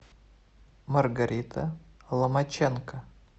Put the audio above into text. маргарита ломаченко